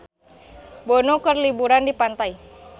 Bono keur liburan di pantai